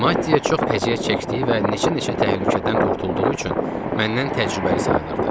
Maddiyə çox əziyyət çəkdiyi və neçə-neçə təhlükədən qurtulduğu üçün məndən təcrübəli sayılırdı.